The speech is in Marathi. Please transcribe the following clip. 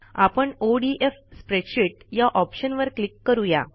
आपण ओडीएफ स्प्रेडशीट या ऑप्शनवर क्लिक करू या